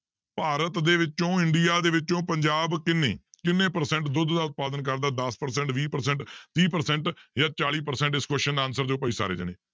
ਭਾਰਤ ਦੇ ਵਿੱਚੋਂ ਇੰਡੀਆ ਦੇ ਵਿੱਚੋਂ ਪੰਜਾਬ ਕਿੰਨੇ, ਕਿੰਨੇ percent ਦੁੱਧ ਦਾ ਉਤਪਾਦਨ ਕਰਦਾ ਦਸ percent ਵੀਹ percent ਤੀਹ percent ਜਾਂ ਚਾਲੀ percent ਇਸ question ਦਾ answer ਦਿਓ ਭਾਈ ਸਾਰੇ ਜਾਣੇ।